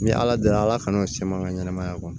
Ni ala deli kana se ma n ka ɲɛnamaya kɔnɔ